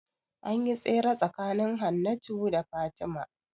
Anyi tsere tsakanin Hannatu da Fatima